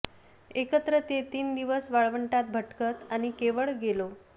एकत्र ते तीन दिवस वाळवंटात भटकत आणि केवळ गेलो